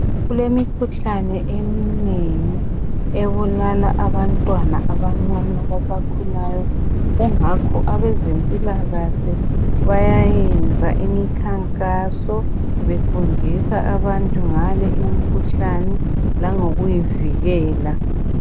Kulemikhuhlane eminengi ebulala abantwana abancane basakhulayo kungakho abezimpilakahle bayayenza imikhankaso befundisa abantu ngale imikhuhlane langokuyivikela.